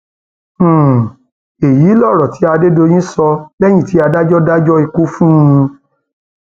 um èyí lọrọ tí adédèyìn sọ lẹyìn tí adájọ dájọ ikú fún um un